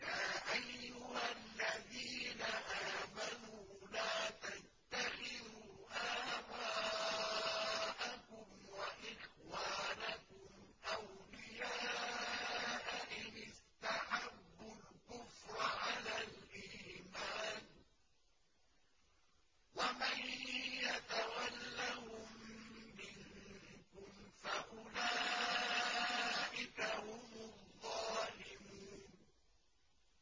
يَا أَيُّهَا الَّذِينَ آمَنُوا لَا تَتَّخِذُوا آبَاءَكُمْ وَإِخْوَانَكُمْ أَوْلِيَاءَ إِنِ اسْتَحَبُّوا الْكُفْرَ عَلَى الْإِيمَانِ ۚ وَمَن يَتَوَلَّهُم مِّنكُمْ فَأُولَٰئِكَ هُمُ الظَّالِمُونَ